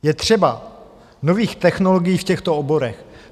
Je třeba nových technologií v těchto oborech.